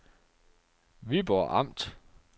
Viborg Amt